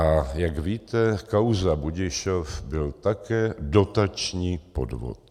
A jak víte, kauza Budišov byl také dotační podvod.